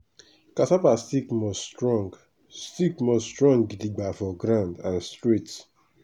cassava stick must strong stick must strong gidigba for ground and straight.